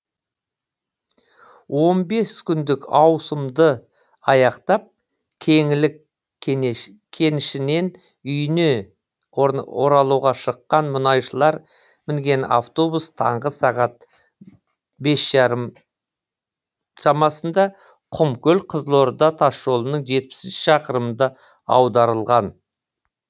он бес күндік ауысымды аяқтап кеңлік кенішінен үйіне оралуға шыққан мұнайшылар мінген автобус таңғы сағат бес жарым шамасында құмкөл қызылорда тасжолының жетпісінші шақырымында аударылған